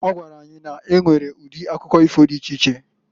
Ọ gwara anyị na-enwere udi akụkọ ifo di iche iche.